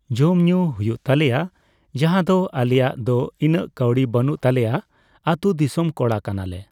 ᱡᱚᱢᱼᱧᱩ ᱦᱩᱭᱩᱜ ᱛᱞᱮᱭᱟ ᱾ ᱡᱟᱦᱟᱫᱚ ᱟᱞᱮᱭᱟᱜ ᱫᱚ ᱤᱱᱟᱹᱜ ᱠᱟᱣᱰᱤ ᱵᱟᱹᱱᱩᱜ ᱛᱟᱞᱮᱭᱟ ᱾ ᱟᱹᱛᱩ ᱫᱤᱥᱚᱢ ᱠᱚᱲᱟ ᱠᱟᱱᱟᱞᱮ ᱾